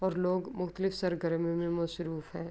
اور لوگ مختلف سرگرمی مے مشروف ہے۔ اور لوگ مختلف سرگرمی مے مشروف ہے۔